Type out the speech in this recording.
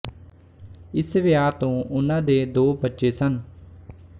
ਇਸ ਵਿਆਹ ਤੋਂ ਉਨ੍ਹਾਂ ਦੇ ਦੋ ਬੱਚੇ ਸਨ